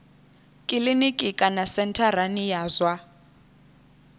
kiliniki kana sentharani ya zwa